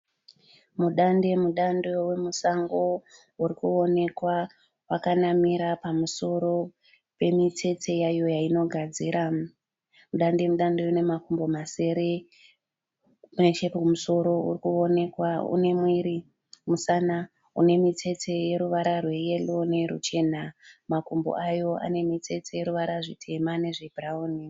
Mudande mudande wemusango uri kuonekwa wakanamira pamusoro pemitsetse yayo yainogadzira. Mudande mudande uyu une makumbo masere. Nechekumusoro uri kuonekwa une mwiri musana une mitsetse yeruvara rweyero neyeruchena. Makumbo ayo ane mitsetse yeruvara rutema nerwebhurawuni.